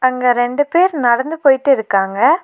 அங்க ரெண்டு பேர் நடந்து போயிட்டு இருக்காங்க.